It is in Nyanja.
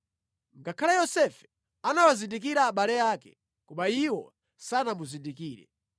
Ngakhale Yosefe anawazindikira abale ake, koma iwo sanamuzindikire.